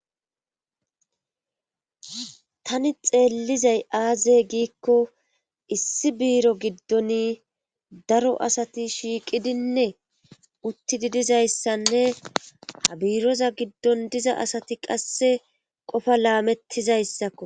Tani xeellizay aazey giikko issi biiro giddon daro asati shiiqidinne uttidi dizayssanne habiiroza giddon diza asati qasse qofa laamettizayssakko.